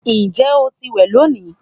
Njẹ o ti wẹ loni?